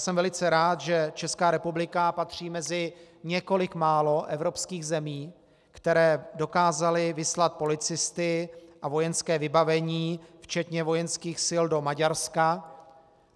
Jsem velice rád, že Česká republika patří mezi několik málo evropských zemí, které dokázaly vyslat policisty a vojenské vybavení včetně vojenských sil do Maďarska.